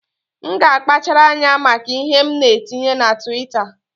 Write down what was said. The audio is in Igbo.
M ga-akpachara anya maka ihe m na-etinye na Twitta